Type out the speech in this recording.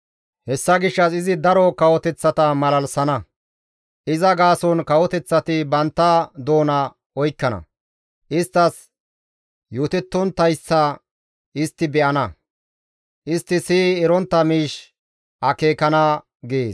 Hessa gishshas izi daro kawoteththata malalisana; iza gaason kawoteththati bantta doona oykkana; isttas yootettonttayssa istti be7ana; istti siyi erontta miish akeekana» gees.